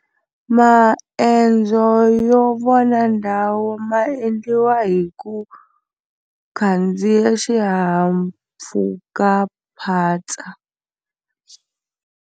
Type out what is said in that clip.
Maendzo yo vona ndhawu ma endliwa hi ku khandziya xihahampfhukaphatsa.